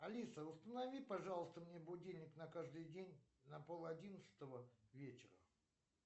алиса установи пожалуйста мне будильник на каждый день на пол одиннадцатого вечера